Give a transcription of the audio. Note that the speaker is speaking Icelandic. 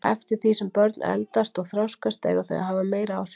Eftir því sem börn eldast og þroskast eiga þau að hafa meiri áhrif.